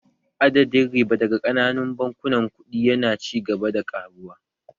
Adadin riba daga ƙananun bankunan kuɗi yana ci gaba da ƙaruwa